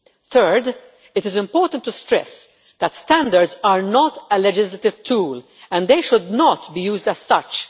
Third, it is important to stress that standards are not a legislative tool, and they should not be used as such.